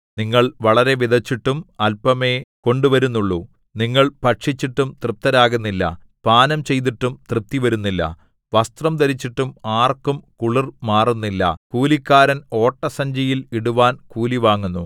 നിങ്ങൾ വളരെ വിതച്ചിട്ടും അല്പമേ കൊണ്ടുവരുന്നുള്ളു നിങ്ങൾ ഭക്ഷിച്ചിട്ടും തൃപ്തരാകുന്നില്ല പാനം ചെയ്തിട്ടും തൃപ്തി വരുന്നില്ല വസ്ത്രം ധരിച്ചിട്ടും ആർക്കും കുളിർ മാറുന്നില്ല കൂലിക്കാരൻ ഓട്ടസഞ്ചിയിൽ ഇടുവാൻ കൂലിവാങ്ങുന്നു